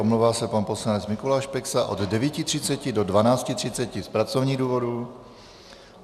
Omlouvá se pan poslanec Mikuláš Peksa od 9.30 do 12.30 z pracovních důvodů.